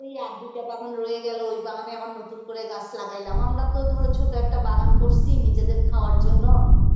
ওই আর দুইটা বাগান রয়ে গেল ওই বাগানে আবার নতুন করে গাছ লাগাইলাম আমরা তো ধরো ছোট একটা বাগান করছি নিজেদের খাওয়ার জন্য